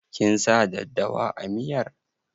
Kin sa daddawa a miyar?